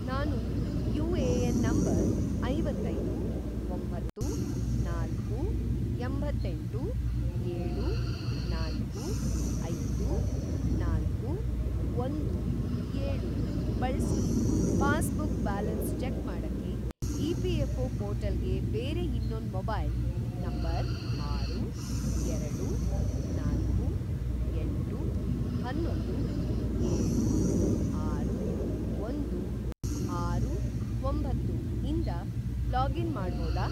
ನಾನು UAN. number ಐವತ್ತೈದು, ಒಂಬತ್ತು, ನಾಲ್ಕು, ಎಂಬತ್ತೆಂಟು, ಏಳು, ನಾಲ್ಕು, ಐದು, ನಾಲ್ಕು, ಒಂದು, ಏಳು ಬಳ್ಸಿ ಪಾಸ್‌ಬುಕ್‌ ಬ್ಯಾಲೆನ್ಸ್‌ ಚೆಕ್‌ ಮಾಡಕ್ಕೆ ಇ.ಪಿ.ಎಫ಼್.ಒ. ಪೋರ್ಟಲ್‌ಗೆ ಬೇರೆ ಇನ್ನೊಂದ್ ಮೊಬೈಲ್‌ ನಂಬರ್‌ ಆರು, ಎರಡು, ನಾಲ್ಕು, ಎಂಟು, ಅನ್ನೊಂದು, ಏಳು, ಆರು, ಒಂದು, ಆರು, ಒಂಬತ್ತು ಇಂದ ಲಾಗಿನ್‌ ಮಾಡ್ಬೋದಾ?